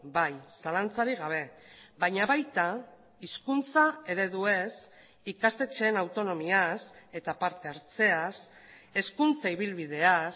bai zalantzarik gabe baina baita hizkuntza ereduez ikastetxeen autonomiaz eta partehartzeaz hezkuntza ibilbideaz